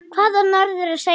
Hvað á norður að segja?